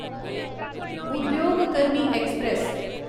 उद्योग कर्मी ऐक्सप्रैस